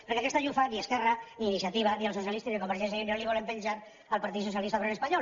perquè aquesta llufa ni esquerra ni iniciativa ni els socialistes ni convergència i unió la volen penjar al partit socialista obrer espanyol